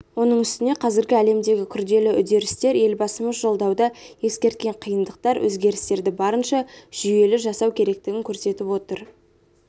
оның үстіне қазіргі әлемдегі күрделі үдерістер елбасымыз жолдауда ескерткен қиындықтар өзгерістерді барынша жүйелі жасау керектігін көрсетіп отыр